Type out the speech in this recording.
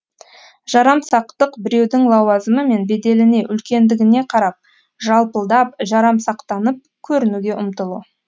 жарамсақтық біреудің лауазымы мен беделіне үлкендігіне қарап жалпылдап жарамсақтанып көрінуге ұмтылу